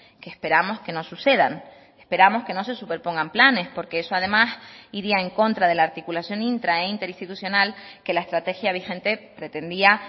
que esperamos que no sucedan esperamos que no se superpongan planes porque eso además iría en contra de la articulación intra e interinstitucional que la estrategia vigente pretendía